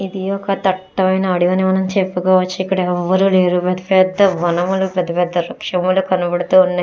ఇది ఒక దట్టమైన అడవని మనం చెప్పుకోవచ్చు ఇక్కడ ఎవరూ లేరు పెద్ద పెద్ద వనములు పెద్ద పెద్ద వృక్షములు కనబడుతున్నాయి.